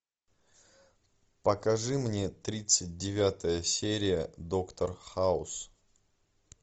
покажи мне тридцать девятая серия доктор хаус